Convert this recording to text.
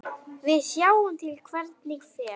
Við sjáum til hvernig fer.